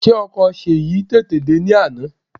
Ṣé ọkọ̀ Ṣèyí tètè dè ní àná?